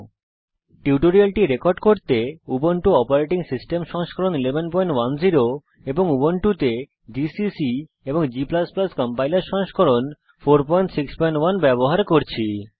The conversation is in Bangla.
এই টিউটোরিয়ালটি রেকর্ড করতে আমি উবুন্টু অপারেটিং সিস্টেম সংস্করণ 1110 উবুন্টুতে জিসিসি এবং g কম্পাইলার সংস্করণ 461 ব্যবহার করছি